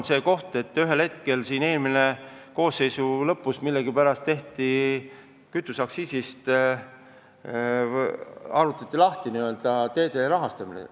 Eelmise koosseisu lõpus millegipärast otsustati teede rahastamine kütuseaktsiisist lahti siduda.